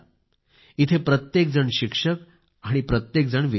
इथे प्रत्येक जण शिक्षक आणि प्रत्येक जणच विद्यार्थी